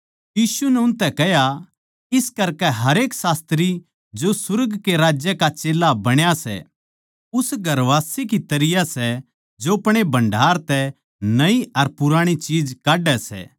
यीशु नै उनतै कह्या इस करकै हरेक शास्त्री जो सुर्ग कै राज्य का चेल्ला बण्या सै उस घरवासे की तरियां सै जो अपणे भण्डार तै नयी अर पुराणी चीज काड्डै सै